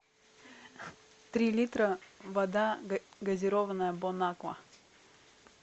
три литра вода газированная бонаква